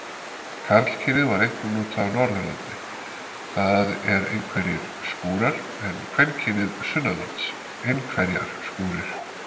Karlkynið var einkum notað á Norðurlandi, það er einhverjir skúrar, en kvenkynið sunnanlands, einhverjar skúrir.